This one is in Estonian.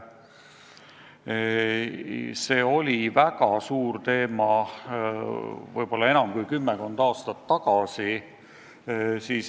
See oli väga tähtis teema võib-olla enam kui kümmekond aastat tagasi.